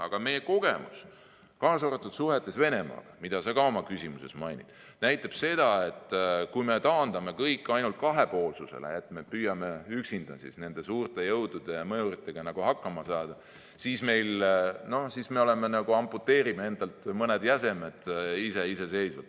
Aga meie kogemus, kaasa arvatud suhetes Venemaaga, mida sa ka oma küsimuses mainisid, näitab, et kui me taandame kõik ainult kahepoolsusele ehk püüame üksinda nende suurte jõudude ja mõjuritega hakkama saada, siis me iseseisvalt amputeerime endalt nagu mõned jäsemed.